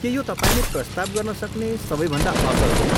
के यो तपाईँले प्रस्ताव गर्नसक्ने सबैभन्दा असल हो?